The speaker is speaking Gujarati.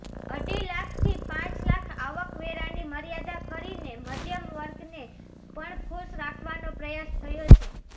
અઢી લાખથી પાંચ લાખ આવકવેરાની મર્યાદા કરીને મધ્યમવર્ગને પણ ખુશ રાખવાનો પ્રયાસ થયો છે